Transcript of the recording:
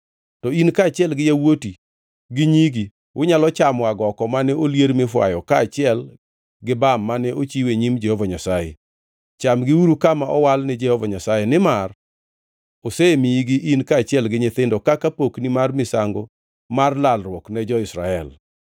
To in kaachiel gi yawuoti gi nyigi unyalo chamo agoko mane olier mifwayo kaachiel gi bam mane ochiw e nyim Jehova Nyasaye. Chamgiuru kama owal ni Jehova Nyasaye, nimar osemiyigi in kaachiel gi nyithindo kaka pokni mar misango mar lalruok ne jo-Israel.